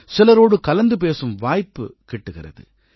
சிலரோடு கலந்து பேசும் வாய்ப்பு கிட்டுகிறது